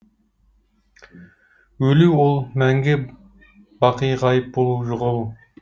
өлу ол мәңгі бақи ғайып болу жоғалу